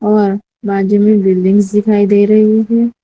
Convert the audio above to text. और बाजू बिल्डिंग्स दिखाई दे रही है।